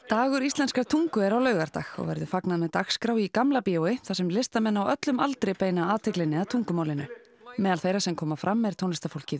dagur íslenskrar tungu er á laugardag og verður fagnað með dagskrá í Gamla bíói þar sem listamenn á öllum aldri beina athyglinni að tungumálinu meðal þeirra sem koma fram er tónlistarfólkið